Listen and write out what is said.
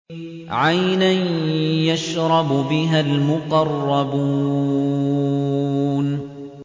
عَيْنًا يَشْرَبُ بِهَا الْمُقَرَّبُونَ